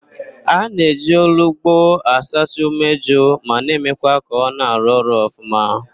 A na-eji olugbo asacha umeju ma na emekwa ka ọ na-arụ ọrụ ọfụma